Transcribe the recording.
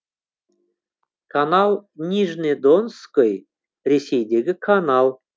канал нижне донской ресейдегі канал